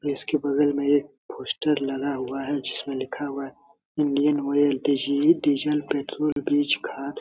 Place के बगल में एक पोस्टर लगा हुआ है जिसमें लिखा हुआ है इंडियन आयल डीजल पेट्रोल बीज खाद।